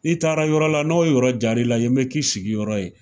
I taara yɔrɔ la n'o yɔrɔ jara i la ,yen bi k'i sigiyɔrɔ ye.